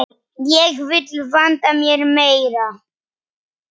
Ég vil vanda mig meira.